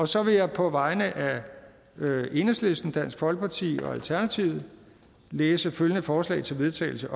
så vil jeg på vegne af enhedslisten dansk folkeparti og alternativet læse følgende forslag til vedtagelse